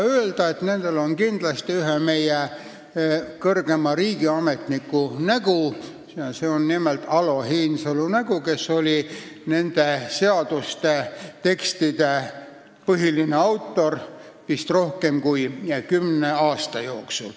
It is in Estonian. Võib öelda, et nendel on kindlasti ühe meie kõrgema riigiametniku nägu, nimelt Alo Heinsalu nägu, kes oli nende seaduste põhiline autor vist rohkem kui kümne aasta jooksul.